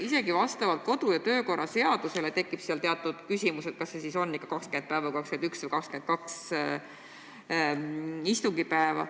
Isegi kodu- ja töökorra seaduse järgi tekib seal teatud küsimus, kas see siis ikka on 20, 21 või 22 istungipäeva.